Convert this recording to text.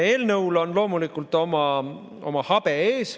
Eelnõul on loomulikult oma habe ees.